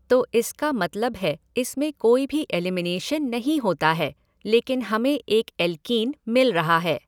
तो इसका मतलब है इसमें कोई भी एलिमिनेशन नहीं होता है लेकिन हमें एक एल्कीन मिल रहा है।